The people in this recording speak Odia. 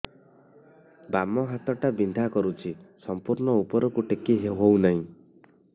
ବାମ ହାତ ଟା ବିନ୍ଧା କରୁଛି ସମ୍ପୂର୍ଣ ଉପରକୁ ଟେକି ହୋଉନାହିଁ